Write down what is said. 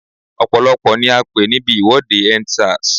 Ọ̀pọ̀lọ́pọ̀ ni a pé níbi ìwọ́de End Sars.